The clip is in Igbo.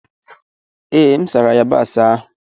Ee, M sara yabasị ahụ.